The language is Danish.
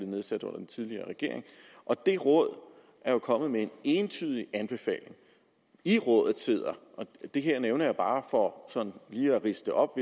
nedsat under den tidligere regering og det råd er jo kommet med en entydig anbefaling i rådet sidder og det her nævner jeg bare for sådan lige at ridse det op